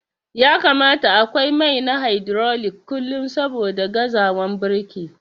Ya kamata akwai mai na hydrolic kullum saboda gazawan birki.